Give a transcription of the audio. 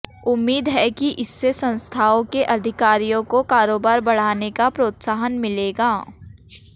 उम्मीद है कि इससे संस्थाओं के अधिकारियों को कारोबार बढ़ाने का प्रोत्साहन मिलेगा